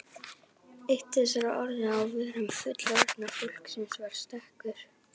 Eitt þessara orða á vörum fullorðna fólksins var stekkur.